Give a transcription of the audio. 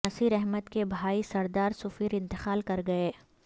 نصیر احمد کے بھائی سردار سفیر انتقال کر گئے